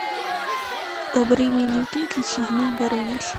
добрыня никитич и змей горыныч